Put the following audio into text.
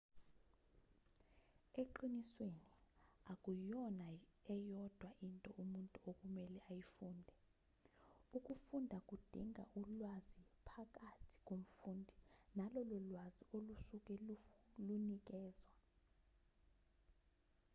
eqinisweni akuyona eyodwa into umuntu okumele ayifunde ukufunda kudinga ulwazi phakathi komfundi nalolo lwazi olusuke lunikezwa